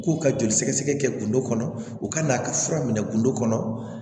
K'u ka joli sɛgɛsɛgɛ kɛ kundo kɔnɔ u ka n'a ka fura minɛ gindo kɔnɔ